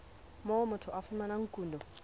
moo motho a fumanang kuno